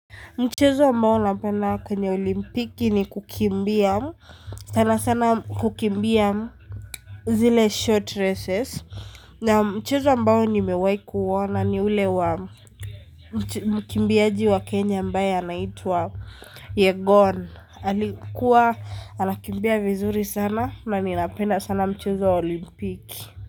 Mchezo ambao napenda kwenye olimpiki ni kukimbia sana sana kukimbia zile short races na mchezo ambao nimewahi kuona ni ule wa mkimbiaji wa kenya ambaye anaitwa yegon alikuwa anakimbia vizuri sana na ninapenda sana mchezo wa olimpiki.